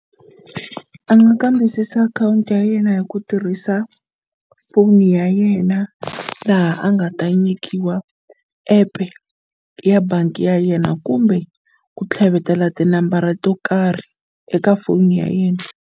A nga kambisisa akhawunti ya yena hi ku tirhisa foni ya yena laha a nga ta nyikiwa app ya bangi ya yena kumbe ku tlhavetela tinambara to karhi eka foni ya yena.